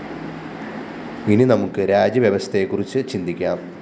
ഇനി നമുക്ക് രാജ്യവ്യവസ്ഥയെക്കുറിച്ച് ചിന്തിക്കാം